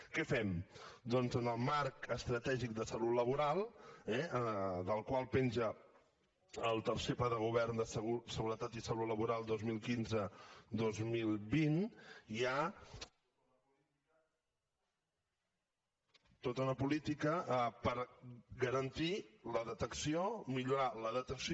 què fem doncs en el marc estratègic de salut laboral eh del qual penja el tercer pla de govern de seguretat i salut laboral dos mil quinzedos mil vint hi ha tota una política per garantir la detecció millorar la detecció